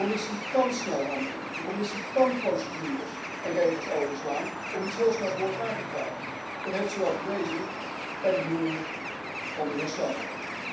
De Commissie kan snel handelen. De Commissie kan procedures en regels overslaan om iets heel snel voor elkaar te krijgen. Dat heeft ze wel bewezen bij de benoeming van de heer Selmayr.